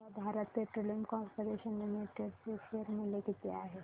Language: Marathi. सांगा भारत पेट्रोलियम कॉर्पोरेशन लिमिटेड चे शेअर मूल्य किती आहे